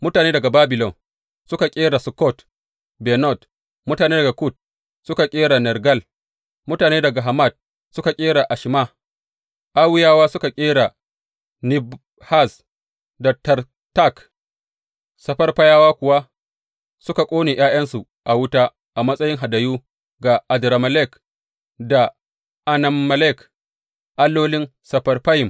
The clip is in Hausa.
Mutane daga Babilon suka ƙera Sukkot Benot, mutane daga Kut suka ƙera Nergal, mutane daga Hamat suka ƙera Ashima; Awwiyawa suka ƙera Nibhaz da Tartak, Sefarfayawa kuwa suka ƙone ’ya’yansu a wuta a matsayi hadayu ga Adrammelek da Anammelek allolin Sefarfayim.